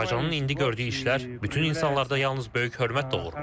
Azərbaycanın indi gördüyü işlər bütün insanlarda yalnız böyük hörmət doğurur.